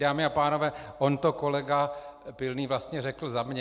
Dámy a pánové, on to kolega Pilný vlastně řekl za mě.